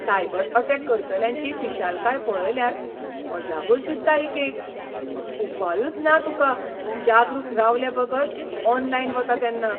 Cyber attack करतल्यांची फिशालकाय पळयल्यार अजापच दिसता एकेक. उपायूच ना तुका जागरूक रावलेबगर ऑनलायन वता तेन्ना.